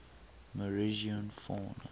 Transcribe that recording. morrison fauna